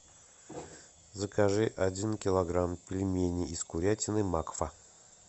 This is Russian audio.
закажи один килограмм пельменей из курятины макфа